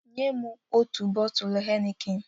Nye m ọtu bọtulụ heineken